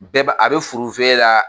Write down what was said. Bɛɛ ba a bɛ furufe la.